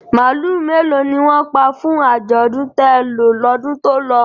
Màálù mélòó ni wọ́n pa fún àjọ̀dún télọ̀ lọ́dún tó lọ?